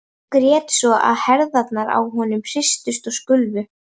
Og grét svo að herðarnar á honum hristust og skulfu.